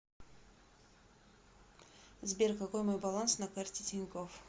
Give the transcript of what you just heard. сбер какой мой баланс на карте тинькофф